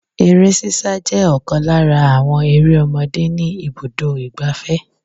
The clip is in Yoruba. Eré sísá jẹ́ ọ̀kan lára àwọn eré ọmọdé ni ibùdó igbàfẹ́.